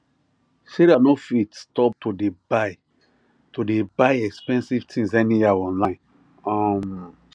sarah no fit stop to dey buy to dey buy expensive things anyhow online um